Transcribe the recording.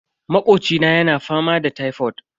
Makocina yana fama da tifod.